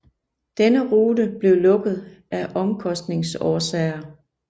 Denne rute blev lukket af omkostningsårsager